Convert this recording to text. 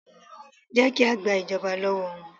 Jẹ́ ki a gba ìjọba lọ́wọ́ wọn